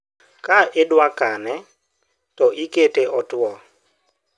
ka idwakane to ikete otuo